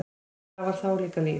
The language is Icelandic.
Það var þá líka líf!